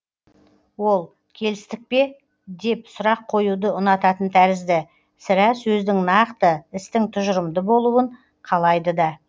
ол келістік пе деп сұрақ қоюды ұнататын тәрізді сірә сөздің нақты істің тұжырымды болуын қалайды да